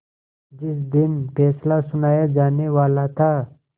जिस दिन फैसला सुनाया जानेवाला था